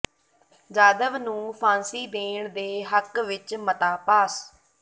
ਜਾਧਵ ਨੂੰ ਫ਼ਾਂਸੀ ਦੇਣ ਦੇ ਹੱਕ ਵਿੱਚ ਮਤਾ ਪਾਸ